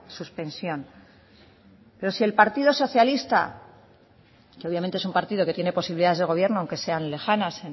suspensión pero si el partido socialista que obviamente es un partido que tiene posibilidades de gobierno aunque sean lejanas